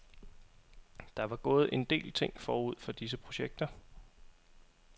Der var gået en del ting forud for disse projekter.